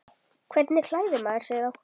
Hvernig klæðir maður sig þá?